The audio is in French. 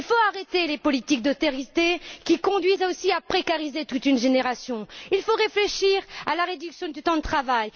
Il faut arrêter les politiques d'austérité qui conduisent aussi à précariser toute une génération. Il faut réfléchir à la réduction du temps de travail.